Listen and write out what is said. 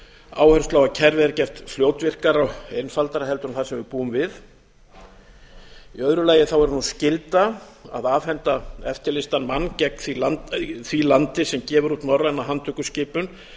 áherslu á að kerfið er gert fljótvirkara og einfaldara en það sem við búum við í öðru lagi er nú skylda að afhenda eftirlýstan mann því landi sem gefur út norræna handtökuskipun